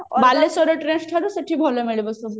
ବାଲେଶ୍ଵର ରେ trends ଠାରୁ ସେଠି ଭଲ ମିଳିବ ସେ ଜିନିଷ